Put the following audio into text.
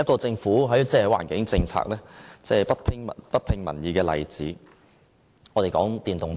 政府環境政策不聽民意的另一個例子，就是電動車。